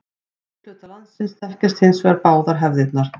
Í miðhluta landsins þekkjast hins vegar báðar hefðirnar.